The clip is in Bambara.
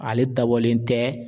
Ale dabɔlen tɛ.